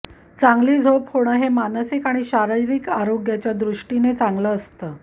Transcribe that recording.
चांगली झोप होणं हे मानसिक आणि शारीरिक आरोग्याच्यादृष्टीनं चांगलं असतं